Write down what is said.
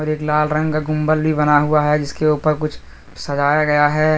एक लाल रंग का गुंबद भी बन गया है जिसके ऊपर कुछ सजाया गया है।